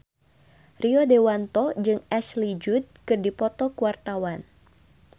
Rio Dewanto jeung Ashley Judd keur dipoto ku wartawan